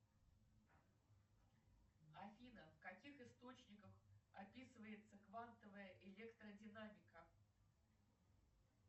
афина в каких источниках описывается квантовая электродинамика